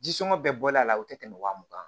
Ji sɔngɔ bɛɛ bɔlen a la o te tɛmɛ wa mugan